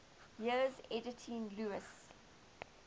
years editing lewes's